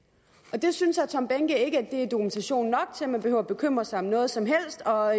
det synes herre tom behnke ikke er dokumentation nok til at man behøver bekymre sig om noget som helst og